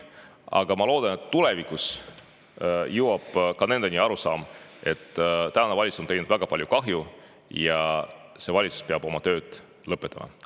Ma siiski loodan, et tulevikus jõuab ka nendeni arusaam, et tänane valitsus on teinud väga palju kahju ja see valitsus peab oma töö lõpetama.